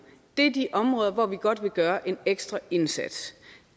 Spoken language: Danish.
det er de områder hvor vi godt kan gøre en ekstra indsats